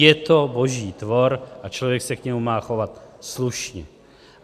Je to boží tvor a člověk se k němu má chovat slušně.